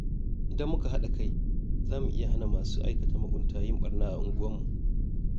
Idan muka haɗa kai, za mu iya hana masu aikata mugunta yin barna a unguwarmu.